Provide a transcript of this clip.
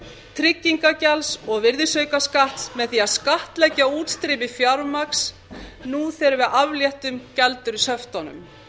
tryggingagjalds og virðisaukaskatts með því að skattleggja útstreymi fjármagns þegar við afléttum gjaldeyrishöftunum